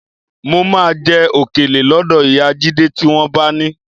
Mo máa jẹ òkèlè lọ́dọ̀ ìyá Jídé tí wọ́n bá ni